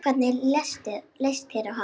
Hvernig leist þér á hann?